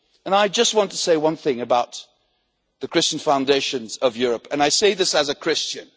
I just want to say one thing about the Christian foundations of Europe, and I say this as a Christian.